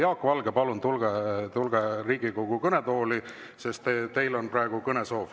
Jaak Valge, palun tulge Riigikogu kõnetooli, teil on kõnesoov.